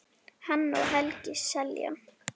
Hanna og Helgi Seljan.